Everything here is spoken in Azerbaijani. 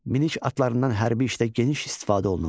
Minik atlarından hərbi işdə geniş istifadə olunurdu.